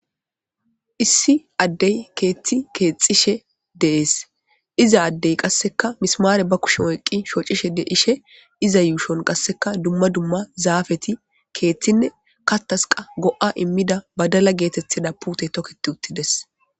issi addey keethti keexxishe dees iza addey qasseka mismaare ba kushumo eqqi shoocishe dishe iza yuushon qasseka dumma dumma zaafeti keeththinne katasqa go7a immida badala geetettida puute toketi uttides